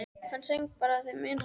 Hann söng bara þeim mun hærra.